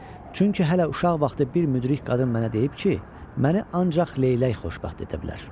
Çünki hələ uşaq vaxtı bir müdrik qadın mənə deyib ki, məni ancaq leylək xoşbəxt edə bilər.